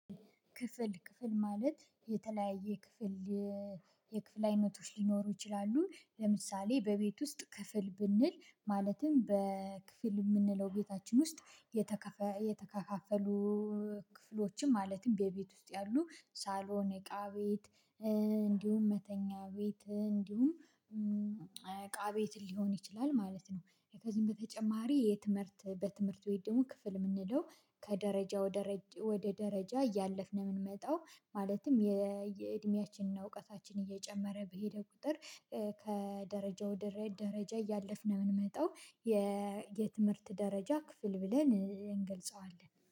ክፍል ክፍል ማለት የተለያየ ክፍል የክፍል አይነቶች ሊኖሩ ይችላሉ ለምሳሌ በቤት ውስጥ ክፍል ብንል ማለትም በክፍል እምንለው ቤታችን ውስጥ የተከፋፈሉ ክፍሎችም ማለትም በቤት ውስጥ ያሉ ሳሎን እቃ ቤት እንዲሁም መተኛ ቤት እንዲሁም እቃ ቤት ሊሆን ይችላል ማለት ነው። ከዚህም በተጨማሪ የትምህርት በትምህርት ወይም ደግሞ ክፍል እምንለው ከደረጃ ወደ ወደ ደረጃ እያለፍን የምንመጣው ማለትም የእየእድሜያችንና እውቀታችን እየጨመረ በሄደ ቁጥር ከደረጃው ደረጃ እያለፍን ነው እምንመጣው። የትምህርት ደረጃ ክፍል ብለን እንገልጸዋለን